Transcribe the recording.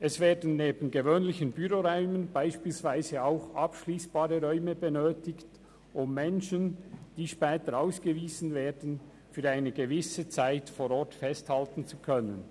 Es werden neben gewöhnlichen Büroräumen beispielsweise auch abschliessbare Räume gebraucht, um Menschen, die später ausgewiesen werden, für eine gewisse Zeit vor Ort festhalten zu können.